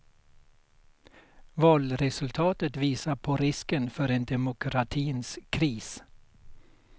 Valresultatet visar på risken för en demokratins kris.